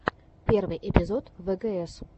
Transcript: первый эпизод вгс